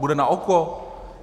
Bude na oko?